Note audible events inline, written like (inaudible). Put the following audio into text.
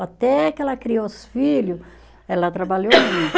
Até que ela criou os filho, ela trabalhou (unintelligible) (coughs)